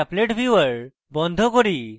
আমি appletviewer বন্ধ করি